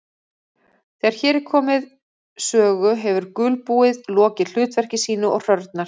Þegar hér er komið sögu hefur gulbúið lokið hlutverki sínu og hrörnar.